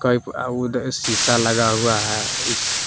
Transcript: pipe अह उधर शीशा लगा हुआ है इस--